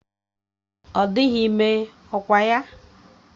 Ọ dịghị ime, ọkwa ya?